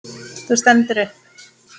Þú stendur upp.